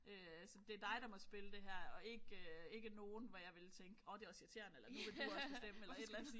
Øh så det dig der må spille det her og ikke øh ikke nogen hvor jeg ville tænke åh det også irriterende eller nu vil du også bestemme eller et eller andet